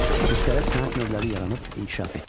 Müxtəlif sənət növləri yaranıb inkişaf etdi.